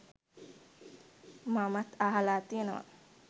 මමත් අහලා තියෙනවා